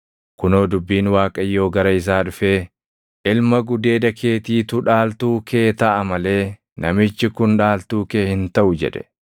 Kunoo dubbiin Waaqayyoo gara isaa dhufee, “Ilma gudeeda keetiitu dhaaltuu kee taʼa malee namichi kun dhaaltuu kee hin taʼu” jedhe.